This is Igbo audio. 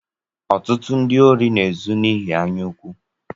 Ọtụtụ ndị órí na-ezu n'ihi anya ukwu.